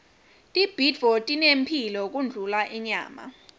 tibhidvo tinemphilo kundlula inyama